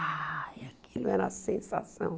Ah, aquilo era a sensação.